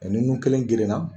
ni nun kelen gerenna.